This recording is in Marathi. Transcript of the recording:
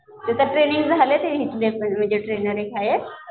तिथे ट्रेनिंग झाल्या म्हणजे इथले ट्रेनर एक आहे